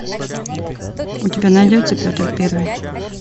у тебя найдется петр первый